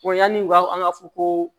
yanni u ka an ka fɔ ko